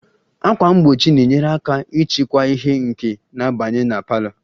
Ákwà mgbochi na-enyere aka ịchịkwa ìhè nke na-abanye na parlour